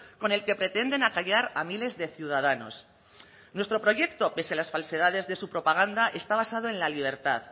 con el que pretenden acallar a miles de ciudadanos nuestro proyecto pese a las falsedades de su propaganda está basado en la libertad